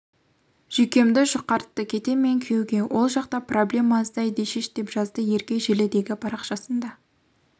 жүйкемді жұқартты кетем мен күйеуге ол жақта проблема аздай дешиш деп жазды ерке желідегі парақшасында